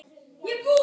Tímarit og bækur.